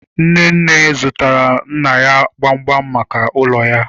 Nnenne zụtaara nna ya gbamgbam maka ụlọ ya